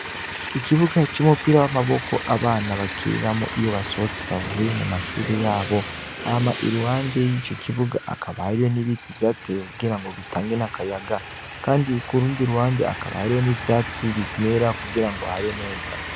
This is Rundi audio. Ikibuga c'umupira w'amaboko abana bakiniramwo iyo basohotse bavuye mu mashuri yabo, hama iruhande y'ico kibuga akaba hariho n'ibiti vyatewe kugira ngo bitange n'akayaga, kandi k’urundi ruhande akaba hariho n'ivyatsi bimera kugira ngo habe neza.